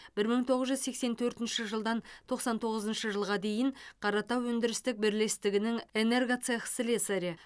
бір мың тоғыз жүз сексен төртінші жылдан тоқсан тоғызыншы жылға дейін қаратау өндірістік бірлестігінің энергоцех слесарі